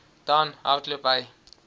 dan hardloop hy